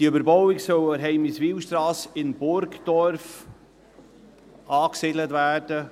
Diese Überbauung soll an der Heimiswilstrasse in Burgdorf angesiedelt werden;